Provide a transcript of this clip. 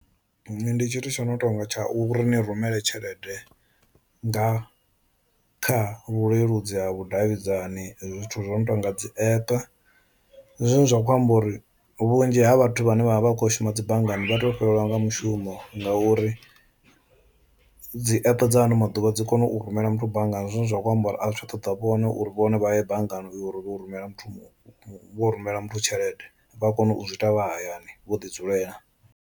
Ndi tshithu tsho no tonga tsha u riṋe rumele tshelede nga kha vhuleludzi ha vhudavhidzani zwithu zwo no tonga dzi app, ndi zwone zwa kho amba uri vhunzhi ha vhathu vhane vha vha vha kho shuma dzi banngani vha to fhelelwa nga mushumo ngauri dzi app dza ano maḓuvha dzi kone u rumela muthu banngani, zwine zwa khou amba uri a zwi tsha ṱoḓa vhone uri vhone vha ye banngani uri vho rumela muthu vho rumela muthu tshelede vha kona u zwi ita vha hayani vho ḓi dzulela.